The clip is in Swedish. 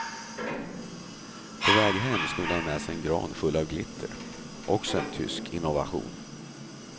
På väg hem snodde han med sig en gran full med glitter, också en tysk innovation.